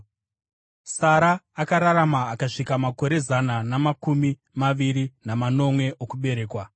Sara akararama akasvika makore zana namakumi maviri namanomwe okuberekwa.